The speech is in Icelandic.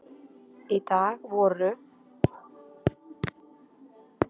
Í dag voru